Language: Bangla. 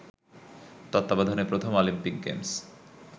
তত্বাবধানে প্রথম অলিম্পিক গেমস